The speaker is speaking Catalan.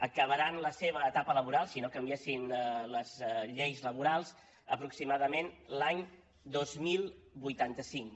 acabaran la seva etapa laboral si no canviessin les lleis laborals aproximadament l’any dos mil vuitanta cinc